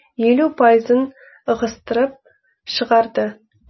елу пайызын ығыстырып шығарды